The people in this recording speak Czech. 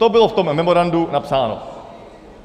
To bylo v tom memorandu napsáno.